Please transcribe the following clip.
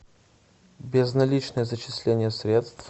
безналичное зачисление средств